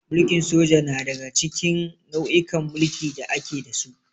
Mulkin soja na daga cikin nau'ikan mulki da ake da su.